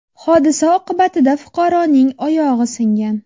Hodisa oqibatida fuqaroning oyog‘i singan.